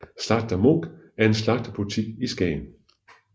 Slagter Munch er en slagterbutik i Skagen